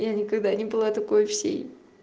я никогда не была такое всей